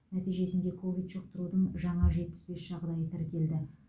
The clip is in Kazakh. нәтижесінде ковид жұқтырудың жаңа жетпіс бес жағдайы тіркелді